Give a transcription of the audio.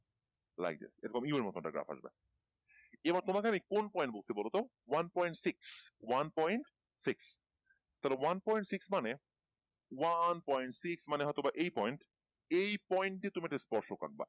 like this এরকম U এর মতো একটা গ্রাফ আসবে এবার তোমাদের আমি কোন point বলছি বলো তো one point six one point six তাহলে one point six মানে one point six মানে হয়তো বা এই point এই point এই তুমি এটাকে ইস্পর্শ করবা